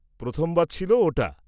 -প্রথমবার ছিল ওটা?